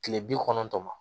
Kile bi kɔnɔntɔn ma